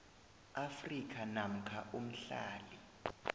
afrika namkha umhlali